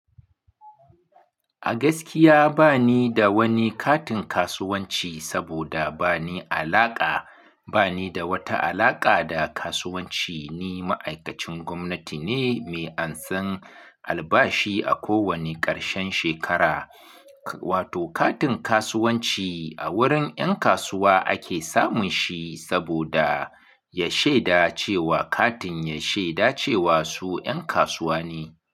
A gaskiya bani da wani katin kasuwanci saboda bani alaka da wata alaƙa da kasuwanci. Ni ma'aikacin gwamnati ne mai ansan albashi a kowane ƙarshen shekara. Wato katin kasuwanci a wurin 'yan kasuwa ake samun shi saboda ya shaida cewa katin ya shaida cewa su 'yan kasuwa ne.